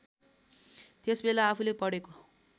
त्यसबेला आफूले पढेको